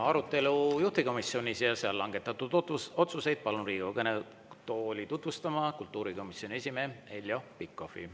Arutelu juhtivkomisjonis ja seal langetatud otsuseid palun Riigikogu kõnetooli tutvustama kultuurikomisjoni esimehe Heljo Pikhofi.